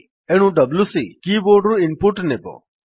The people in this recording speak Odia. ଏଣୁ ଡବ୍ଲ୍ୟୁସି କିବୋର୍ଡ୍ ରୁ ଇନ୍ ପୁଟ୍ ନେବ